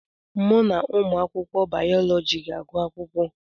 Mụ na ụmụ akwụkwọ bayọlọji ga-agụ akwụkwọ.